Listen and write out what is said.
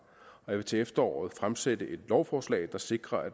og jeg vil til efteråret fremsætte et lovforslag der sikrer